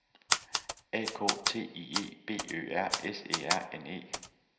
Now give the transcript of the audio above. A K T I E B Ø R S E R N E